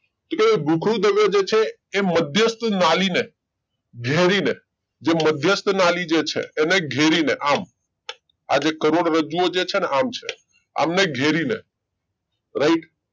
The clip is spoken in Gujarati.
તો કે ભુખરુંદ દ્રવ્ય જે છે એ મધ્યસ્થ નાળી ને ઘેરી ને જે મધ્યસ્થ નાળી જે છે ઘેરી ને આમ આ જે કરોડરજ્જુ ઓ જે છે ને આમ છે આમને ઘેરી ને રાઈટ